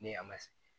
Ni a ma se